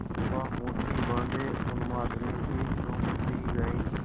चंपा मुठ्ठी बाँधे उन्मादिनीसी घूमती रही